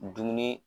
Dumuni